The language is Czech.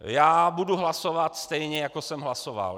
Já budu hlasovat stejně, jako jsem hlasoval.